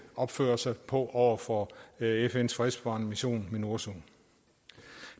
opføre sig på over for fns fredsbevarende mission minurso det